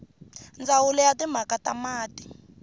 ndzawulo ya timhaka ta mati